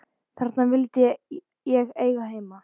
Þarna vildi ég eiga heima.